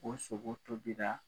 O sogo tobira